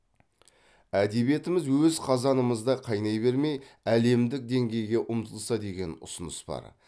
әдебиетіміз өз қазанымызда қайнай бермей әдемдік деңгейге ұмтылса деген ұсыныс бар